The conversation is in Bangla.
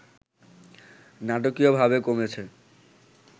নাটকীয়ভাবে কমেছে